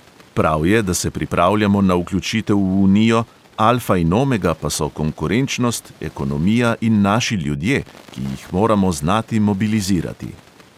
Prav je, da se pripravljamo na vključitev v unijo, alfa in omega pa so konkurenčnost, ekonomija in naši ljudje, ki jih moramo znati mobilizirati.